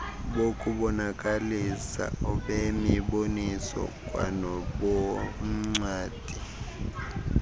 bokubonakalisa obemiboniso kwanoboncwadi